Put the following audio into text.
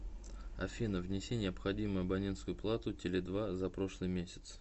афина внеси необходимую абонентскую плату теле два за прошлый месяц